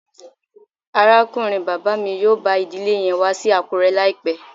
Arakunrin baba mi yoo ba idile yen wa si Akure laipẹ